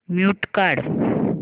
mute काढ